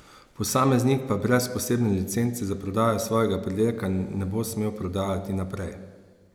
Posameznik pa brez posebne licence za prodajo svojega pridelka ne bo smel prodajati naprej.